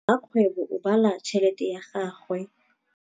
Rakgwêbô o bala tšheletê ya gagwe.